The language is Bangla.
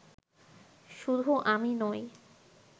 শুধু আমি নই